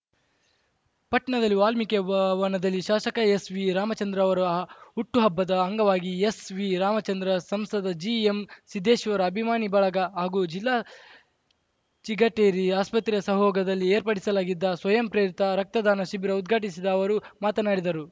ಪಟ್ಣದಲ್ಲಿ ವಾಲ್ಮಿಕಿ ವ ವನದಲ್ಲಿ ಶಾಸಕ ಎಸ್‌ವಿ ರಾಮಚಂದ್ರ ಅವರ ಹುಟ್ಟು ಹಬ್ಬದ ಅಂಗವಾಗಿ ಎಸ್‌ವಿರಾಮಚಂದ್ರ ಸಂಸದ ಜಿಎಂ ಸಿದ್ದೇಶ್ವರ ಅಭಿಮಾನಿ ಬಳಗ ಹಾಗೂ ಜಿಲ್ಲಾ ಚಿಗಟೇರಿ ಆಸ್ಪತ್ರೆ ಸಹಓಗದಲ್ಲಿ ಏರ್ಪಡಿಸಲಾಗಿದ್ದ ಸ್ವಯಂಪ್ರೇರಿತ ರಕ್ತದಾನ ಶಿಬಿರ ಉದ್ಘಾಟಿಸಿದ ಅವರು ಮಾತನಾಡಿದರು